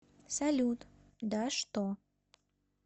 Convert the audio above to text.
салют да что